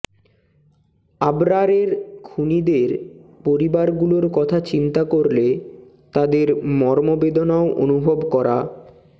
আবরারের খুনিদের পরিবারগুলোর কথা চিন্তা করলে তাদের মর্মবেদনাও অনুভব করা